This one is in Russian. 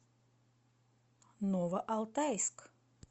новоалтайск